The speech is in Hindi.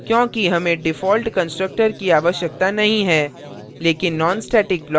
उत्तर है क्योंकि हमें default constructor की आवश्यकता नहीं है